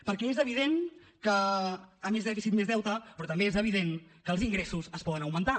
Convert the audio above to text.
perquè és evident que a més dèficit més deute però també és evident que els ingressos es poden augmentar